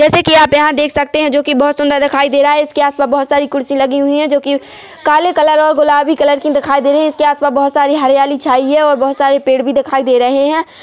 जैसे कि आप यहां देख सकते हैं जो की बहुत सुंदर दिखाई दे रहा है इसके आसपास बहुत सारी कुर्सी लगी हुई है जो कि काले कलर और गुलाबी कलर की दिखाई दे रहे हैं इसके आसपास बहुत सारी हरियाली छाई है और बहुत सारे पेड़ भी दिखाई दे रहे हैं.